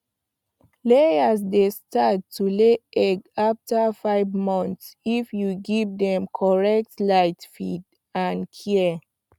layers dey start to lay egg after five months if you give dem correct light feed and care